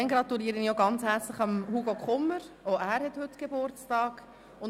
Ich gratuliere ebenfalls Hugo Kummer, der heute auch seinen Geburtstag feiert.